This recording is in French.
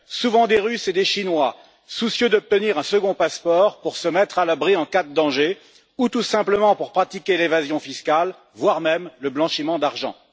Souvent des Russes et des Chinois, soucieux d'obtenir un second passeport pour se mettre à l'abri en cas de danger ou tout simplement pour pratiquer l'évasion fiscale, voire le blanchiment d'argent.